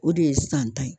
O de ye san ta ye